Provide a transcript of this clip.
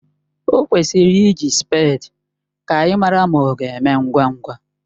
O kwesịrị iji spèdi ka anyị mara ma ọ ga-eme ngwa ngwa